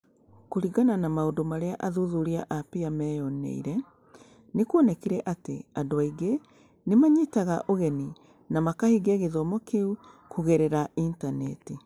Kũringana na maũndũ marĩa athuthuria a PEER meeyoneire, nĩ kuonekire atĩ andũ aingĩ nĩ maanyitaga ũgeni na makahingia gĩthomo kĩu kũgerera Intaneti.